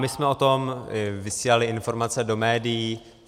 My jsme o tom vysílali informace do médií.